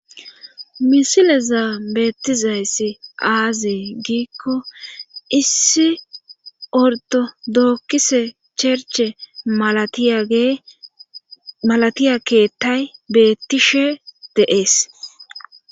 Misile zaa beettizayssi aazi giikko issi ortodookise cherche malatiya keettay bettishe deees.